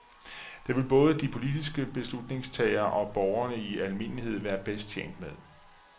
Det vil både de politiske beslutningstagere og borgerne i almindelighed være bedst tjent med.